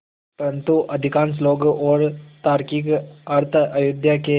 परन्तु अधिकांश लोग और तार्किक अर्थ अयोध्या के